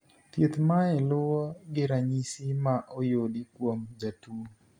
Thieth mae luwo gi ranyisi ma oyudi kuom jatuo